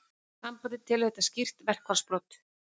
Sambandið telur þetta skýr verkfallsbrot